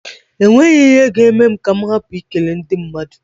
E nweghi ihe ga-eme m ka m hapụ I kele ndị madụ.